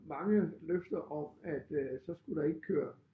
Mange løfter om at øh så skulle der ikke køre